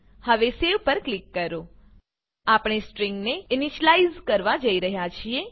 હવે સેવ પર ક્લિક કરો આપણે સ્ટ્રિંગ ને ઇનીશલાઈઝ કરવા જઈ રહ્યા છીએ